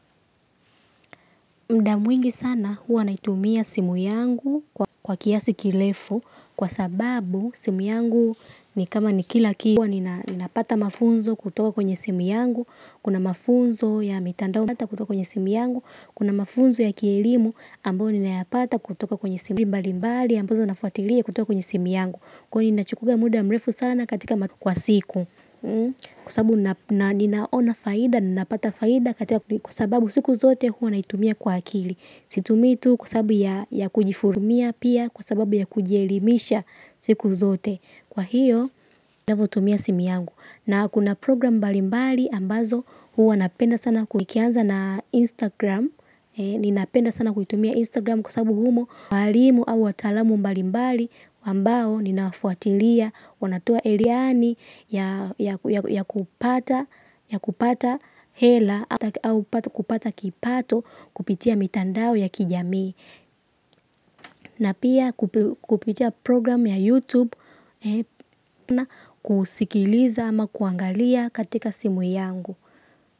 Muda mwingi sana huwa naitumia simu yangu kwa kiasi kirefu kwa sababu simu yangu ni kama ni kila kila kwa ni napata mafunzo kutoka kwenye simu yangu kuna mafunzo ya mitando kutoka kwenye simu yangu kuna mafunzo ya kielimu ambao ninayapata kutoka kwenye simu mbali mbali ambazo nafuatilia kutoka kwenye simu yangu kwani nachukua muda mrefu sana katika matu kwa siku, kwa sababu ninaona faida napata faida kwa sababu siku zote huwa naitumia kwa akili situmii tu kwa sababu ya kujihurumia pia kwa sababu ya kujielimisha siku zote, kwa hiyo ninapotumia simu yangu na kuna program mbali mbali ambazo hua napenda sana ikianza na Instagram. Ninapenda sana kuitumia Instagram kwa sababu humo walimu au wataalamu mbali mbali ambao ninafuatilia wanatoa elimu ya kupata hela au kupata kipato kupitia mitandao ya kijamii na pia kupitia programu ya youtube kusikiliza ama kuangalia katika simu yangu.